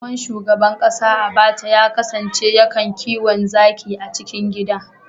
Tsohon shugaban kasa Abaca ya kasance ya kan kiwo zaki a cikin gida